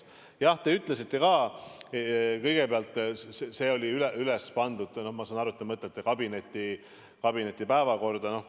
Jah, ma sain aru, te ütlesite, et see oli pandud kabineti päevakorda.